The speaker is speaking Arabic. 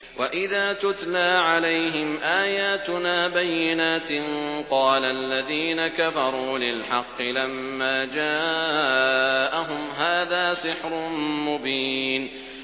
وَإِذَا تُتْلَىٰ عَلَيْهِمْ آيَاتُنَا بَيِّنَاتٍ قَالَ الَّذِينَ كَفَرُوا لِلْحَقِّ لَمَّا جَاءَهُمْ هَٰذَا سِحْرٌ مُّبِينٌ